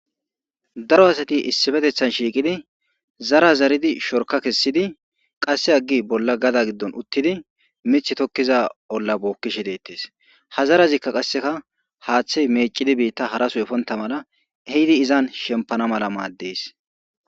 daro asati issifetethan shiiqidi zara zaridi shorka kessidi qasse aggi bolla gada giddon uttidi mithi tokkiza olla bookkishe deettes ha zarazikka qasseka haaththey mecidi biitta hara soy efonta mala ehidi izan shempana mala maaddes.